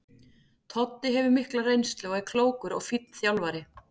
Toddi hefur mikla reynslu og er klókur og fínn þjálfari.